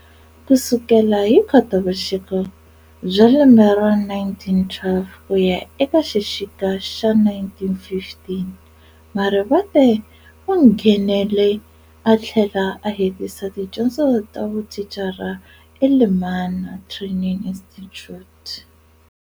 Kusukela hi khotavuxika bya lembe ra 1912 kuya eka xixika xa 1915, Marivate unghenele athlela a hetisa tidyondzo tavuthicara eLemana Training Institute.